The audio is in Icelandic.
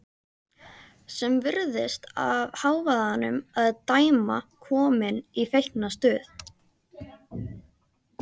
Sem virðist af hávaðanum að dæma komin í feiknastuð.